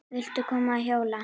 Viltu koma að hjóla?